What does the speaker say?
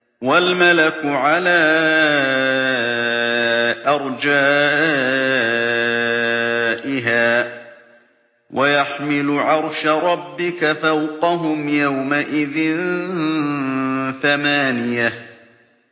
وَالْمَلَكُ عَلَىٰ أَرْجَائِهَا ۚ وَيَحْمِلُ عَرْشَ رَبِّكَ فَوْقَهُمْ يَوْمَئِذٍ ثَمَانِيَةٌ